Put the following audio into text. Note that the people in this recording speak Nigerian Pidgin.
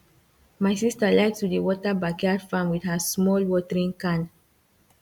my sister like to dey water backyard farm with her small watering can